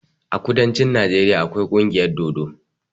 A kudancin Najeriya akwai kungiyar dodo.